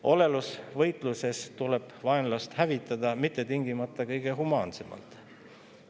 Olelusvõitluses tuleb vaenlast hävitada, ja mitte tingimata kõige humaansemalt.